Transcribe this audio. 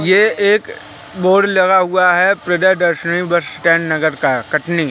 ये एक बोर्ड लगा हुआ है प्रदे दर्शनी बस स्टैंड नगर का कटनी--